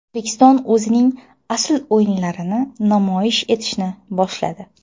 O‘zbekiston o‘zining asl o‘yinlarini namoyish etishni boshladi.